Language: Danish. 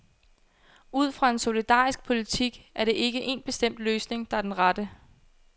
Ud fra en solidarisk politik er der ikke en bestemt løsning, der er den rette.